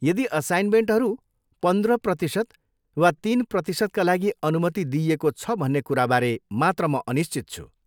यदि असाइनमेन्टहरू पन्द्र प्रतिशत वा तिन प्रतिशतका लागि अनुमति दिइएको छ भन्ने कुराबारे मात्र म अनिश्चित छु।